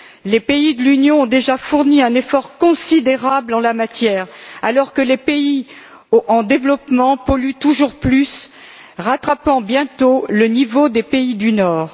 Les pays de l'Union ont déjà fourni un effort considérable en la matière, alors que les pays en développement polluent toujours plus, rattrapant bientôt le niveau des pays du Nord.